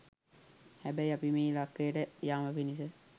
හැබැයි අපි මේ ඉලක්කයට යාම පිණිස